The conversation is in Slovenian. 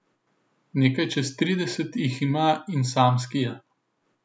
Nekaj čez trideset jih ima in samski je.